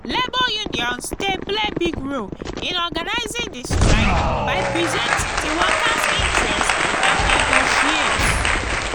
labor unions dey play big role in organizing di strike by presenting di workers' interests and negotiate.